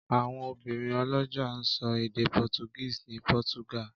Àwọn obìnrin ọlọ́jà ń sọ èdè Portuguese ní Portugal.